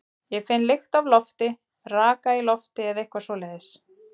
Ég finn lykt af lofti, raka í lofti eða eitthvað svoleiðis.